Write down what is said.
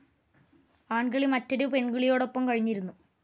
ആൺകിളി മറ്റൊരു പെൺകിളിയോടൊപ്പം കഴിഞ്ഞിരുന്നു.